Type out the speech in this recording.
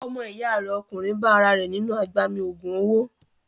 Ọmọ ìyá rẹ̀ ọkùnrin bá ara rẹ̀ nínú agbami ògùn owó.